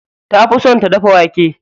Ta fi son ta dafa wake.